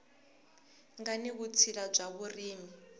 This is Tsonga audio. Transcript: nga ni vutshila bya vurimi